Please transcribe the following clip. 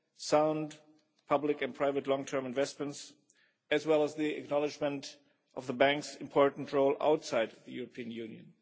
sound public and private long term investments, as well as the acknowledgment of the bank's important role outside the European Union.